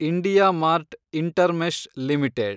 IndiaMART Intermesh limited